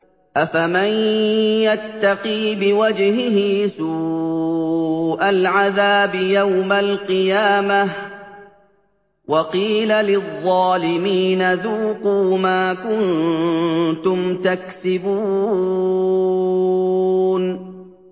أَفَمَن يَتَّقِي بِوَجْهِهِ سُوءَ الْعَذَابِ يَوْمَ الْقِيَامَةِ ۚ وَقِيلَ لِلظَّالِمِينَ ذُوقُوا مَا كُنتُمْ تَكْسِبُونَ